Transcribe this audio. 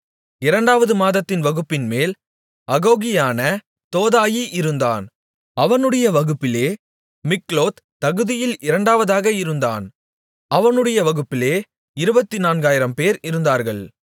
இரண்டாவது மாதத்தின் வகுப்பின்மேல் அகோகியனான தோதாயி இருந்தான் அவனுடைய வகுப்பிலே மிக்லோத் தகுதியில் இரண்டாவதாக இருந்தான் அவனுடைய வகுப்பிலே இருபத்துநான்காயிரம்பேர் இருந்தார்கள்